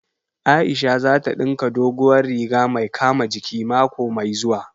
Aisha za ta ɗinka dogowar riga mai kama jiki mako mai zuwa